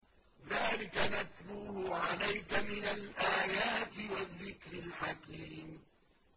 ذَٰلِكَ نَتْلُوهُ عَلَيْكَ مِنَ الْآيَاتِ وَالذِّكْرِ الْحَكِيمِ